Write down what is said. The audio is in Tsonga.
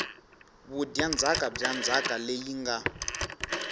vudyandzhaka bya ndzhaka leyi nga